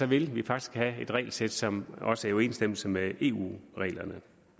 vil vi faktisk have et regelsæt som også er i overensstemmelse med eu reglerne